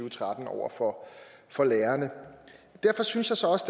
og tretten over for for lærerne derfor synes jeg så også